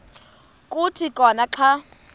kuthi khona xa